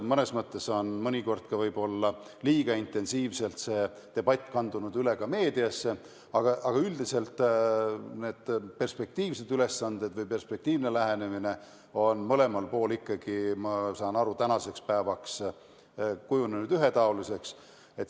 Mõnes mõttes on see debatt võib-olla liiga intensiivselt ka meediasse üle kandunud, aga üldiselt on perspektiivsed ülesanded või perspektiivne lähenemine, nagu ma aru saan, ühetaoliseks kujunenud.